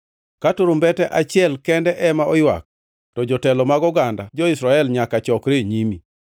Ka turumbete achiel kende ema oywak, to jotelo mag oganda, jo-Israel nyaka chokre e nyimi.